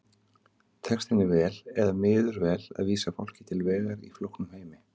Tekst henni vel eða miður vel að vísa fólki til vegar í flóknum heimi?